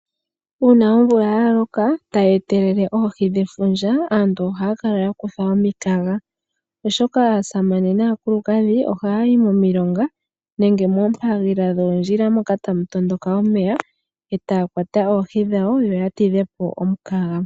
Uuna omvula ya loka e tayi etelele oohi dhefundja, aantu ohaya kala ya kuthwa omikaga, oshoka aasamane naakulukadhi ohaa yi momilonga nenge moompagilila dhoondjila moka tamu tondoka omeya e taa kwata oohi dhawo, yo ya tidhe po omukaga.